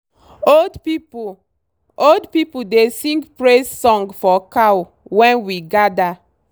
old people old people dey sing praise song for cow when we gather.